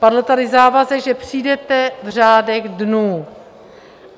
Padl tady závazek, že přijdete v řádech dnů.